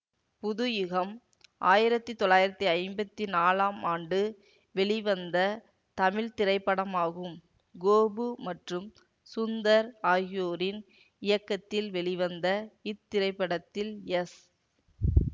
புதுயுகம் ஆயிரத்தி தொள்ளாயிரத்தி ஐம்பத்தி நாலாம் ஆண்டு வெளிவந்த தமிழ் திரைப்படமாகும் கோபு மற்றும் சுந்தர் ஆகியோரின் இயக்கத்தில் வெளிவந்த இத்திரைப்படத்தில் எஸ்